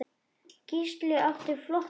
Gísli átti flott mót.